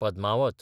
Padmaavat